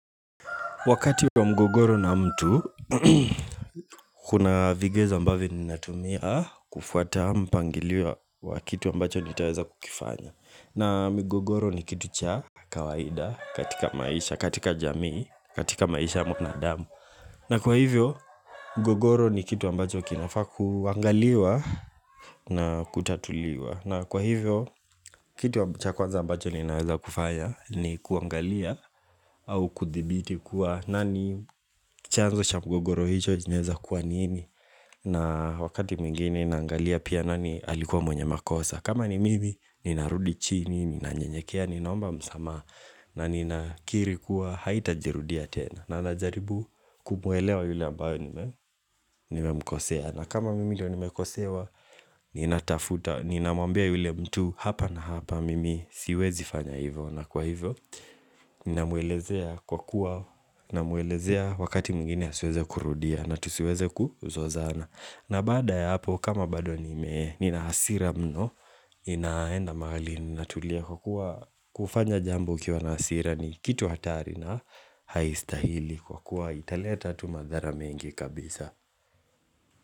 Wakati wa mgogoro na mtu, kuna vigezo ambavyo ninatumia kufuata mpangiliwa wa kitu ambacho nitaweza kukifanya. Na mgogoro ni kitu cha kawaida katika maisha, katika jamii, katika maisha mwanadamu. Na kwa hivyo, mgogoro ni kitu ambacho kinafakuangaliwa na kutatuliwa. Na kwa hivyo, kituwa chakwanza ambacho ninaweza kufaya ni kuangalia au kuthibiti kuwa nani chanzo chamgogoro hicho jineza kuwa nini na wakati mgini nangalia pia nani alikuwa mwenye makosa kama ni mimi, ninarudi chini, nina njenyekea, ninaomba msamaha na nina kiri kuwa haita jirudia tena na najaribu kumuwelewa yule ambayo nimemkosea na kama mimi do nime kosewa Ninatafuta, ninamambia yule mtu Hapa na hapa mimi siwezi fanya hivyo na kwa hivyo, ninamuelezea kwa kuwa namuelezea wakati mwigini asueze kurudia na tusueze kuzozana na baada ya hapo, kama bado nime Ninahasira mno, inaenda mahali ninatulia kwa kuwa kufanya jambo ukiwa hasira ni kitu hatari na haistahili kwa kuwa italeta tu madhara mengi kabisa.